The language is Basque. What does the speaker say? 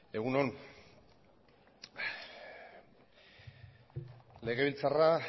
egun on legebiltzarra